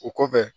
O kɔfɛ